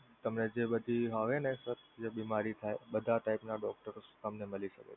તમે જે બધી આવે ને બીમારી થાય બધા type ના doctors તમને મળી શકે છે.